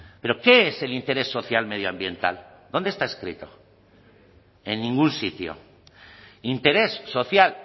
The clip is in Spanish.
pero qué es el interés social medioambiental dónde está escrito en ningún sitio interés social